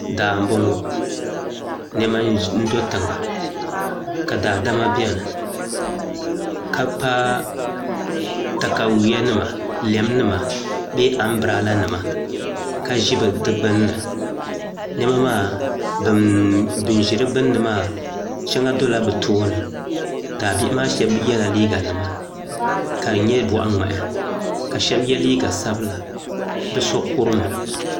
Daa n bɔŋɔ nɛma n do tiŋa ka daadama bɛni ka pa takawya nima lɛm nima bɛɛ ambrɛla nima ka zi di gbunni nɛma maa bini zi di gbunni maa shɛŋ dola bi tooni ka bihi maa shɛb ye la liiga nima ka di nyɛ bɔɣi mŋahi ka shɛba ye liiga sabila ka so kurum.